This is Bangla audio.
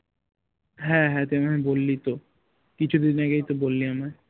হ্যাঁ হ্যাঁ তুই বললি তো কিছুদিন আগেই তো বললি আমায়